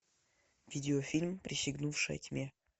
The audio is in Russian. видеофильм присягнувшая тьме